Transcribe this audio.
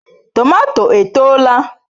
Tomato etoola?